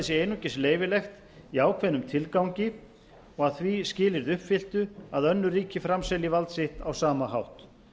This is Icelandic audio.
sé einungis leyfilegt í ákveðnum tilgangi og að því skilyrði uppfylltu að önnur ríki framselji vald sitt á sama hátt